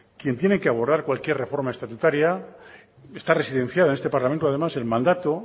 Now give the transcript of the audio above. quien tiene que abordar cualquier reforma estatutaria está residenciada en este parlamento además el mandato